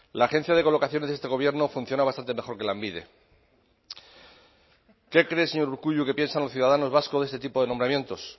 la agencia de colocación de este gobierno funciona bastante mejor que lanbide qué cree señor urkullu que piensan los ciudadanos vascos este tipo de nombramientos